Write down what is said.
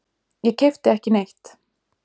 Ég keypti ekki neitt.